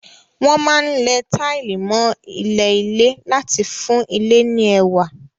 Wọ́n máa ń lẹ táìlì mọ́ ilẹ̀ ilé láti fún ilé ní ẹwà.